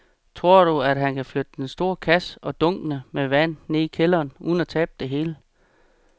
Tror du, at han kan flytte den store kasse og dunkene med vand ned i kælderen uden at tabe det hele?